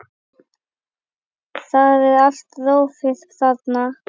Það er allt rófið þarna.